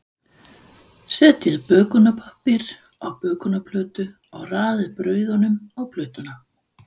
Setjið bökunarpappír á bökunarplötu og raðið brauðunum á plötuna.